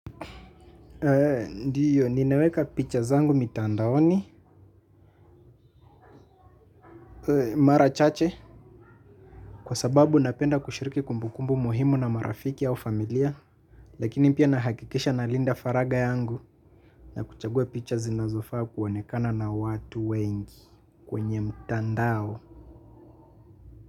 Ndiyo, ninaweka picha zangu mitandaoni, mara chache, kwa sababu napenda kushiriki kumbukumbu muhimu na marafiki au familia, lakini pia nahakikisha na Linda Faraga yangu na kuchagua picha zinazofaa kuonekana na watu wengi kwenye mtandao.